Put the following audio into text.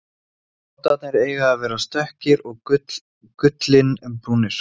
Bátarnir eiga að vera stökkir og gullinbrúnir.